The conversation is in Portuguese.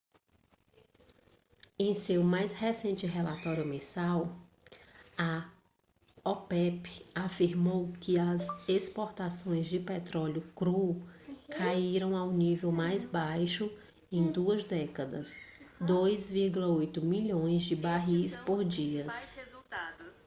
em seu mais recente relatório mensal a opep afirmou que as exportações de petróleo cru caíram ao nível mais baixo em duas décadas 2,8 milhões de barris por dia